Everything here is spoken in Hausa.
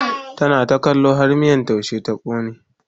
tana ta kallo har miyan taushen ya kone